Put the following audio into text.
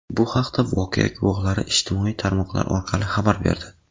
Bu haqda voqea guvohlari ijtimoiy tarmoqlar orqali xabar berdi.